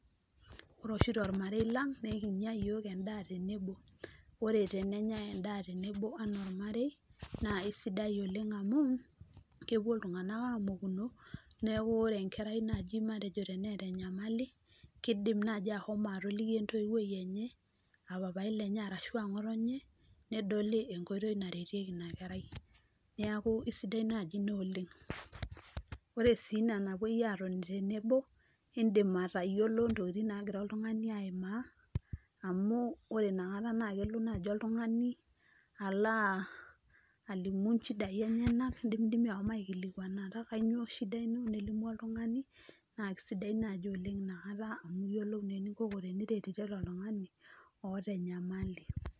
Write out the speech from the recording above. Ore oshi tolmarei Lang naa ekinya yiook endaa tenebo, ore tenenyai endaa tenebo anaa olmare naa isidai oleng amuu, kepuo iltungana aamokuno neeku kore enkerai naaji matejo teneeta enyamali keidim naaji atoliki entoiwuoi enye aa papai lenye arashu ngoto enye, nedoli enkotoi naretieki ina kerai neeku kisidai naaji ina oleng, ore sii ina napuoi atoni tenebo idim atayiolo ntokini nagira aimaa, amu ore inakata kelo naaji oltungani aloo as alimu shidai enyena dimidimi ashom aikilikianata kainyoo shida ino nelimu oltungani, naa kisidai naaji ina oleng inakata amu iyiolou naa enikoko teniretirete oltungani oota enyamali.